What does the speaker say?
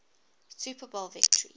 super bowl victories